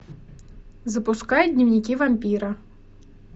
запускай дневники вампира